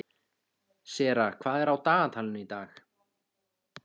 Sera, hvað er á dagatalinu í dag?